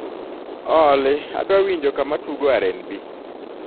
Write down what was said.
olly adwa winjo kama tugo r.n.b